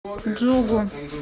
джугу